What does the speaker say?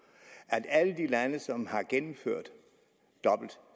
at alle de lande som har indført dobbelt